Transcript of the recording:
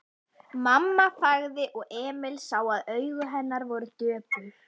Mamma þagði og Emil sá að augu hennar voru döpur.